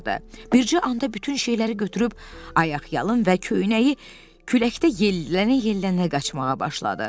Bircə anda bütün şeyləri götürüb ayaqyalın və köynəyi küləkdə yellənə-yellənə qaçmağa başladı.